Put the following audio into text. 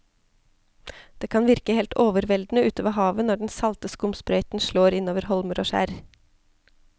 Det kan virke helt overveldende ute ved havet når den salte skumsprøyten slår innover holmer og skjær.